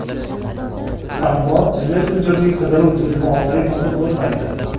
Ammo messenjerning qidiruv tizimi orqali topib bo‘lmaydi.